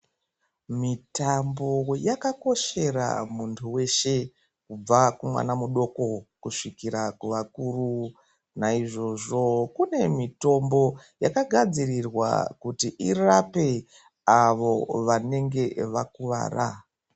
Mitambo yakakoshera muntu wese kubva kumwana mudoko kusvikira kuvakuru naizvozvo kune mitombo yakagadzirirwa kuti irape avo vanenge vakuwara.